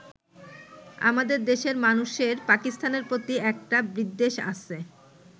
আমাদের দেশের মানুষের পাকিস্তানের প্রতি একটা বিদ্বেষ আছে।